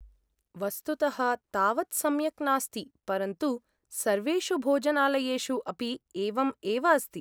वस्तुतः, तावत् सम्यक् नास्ति, परन्तु सर्वेषु भोजनालयेषु अपि एवम् एव अस्ति।